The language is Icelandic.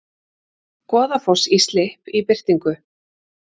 Goðafoss í slipp í birtingu